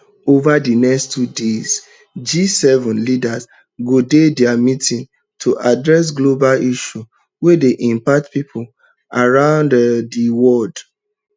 ova di next two days gseven leaders go do dia meeting to address global issues wey dey impact pipo around um di world